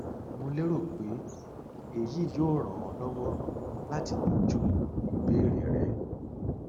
mo lérò pé um èyí yóò ràn ọ lọwọ láti yanjú ìbéèrè rẹ